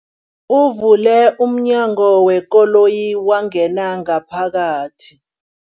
Uvule umnyango wekoloyi wangena ngaphakathi.